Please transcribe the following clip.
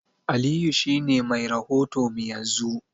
Aliyu shi ne mai rahoto mu yanzu.